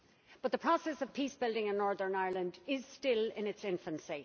But the process of peace building in Northern Ireland is still in its infancy.